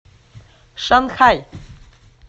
шанхай